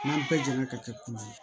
N'an bɛɛ jɛnna ka kɛ kulu ye